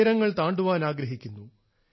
ഉയരങ്ങൾ താണ്ടാൻ ആഗ്രഹിക്കുന്നു